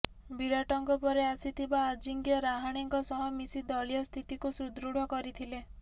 ବିରାଟଙ୍କ ପରେ ଆସିଥିବା ଅଜିଙ୍କ୍ୟ ରାହାଣେଙ୍କ ସହ ମିଶି ଦଳୀୟ ସ୍ଥିତିକୁ ସୁଦୃଢ କରିଥିଲେ